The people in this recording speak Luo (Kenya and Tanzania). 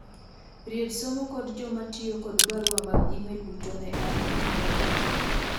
ried somo kod jomatiyo kod barua mag email duto ne an juma mokalo